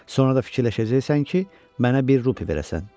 Sonra da fikirləşəcəksən ki, mənə bir rupi verəsən.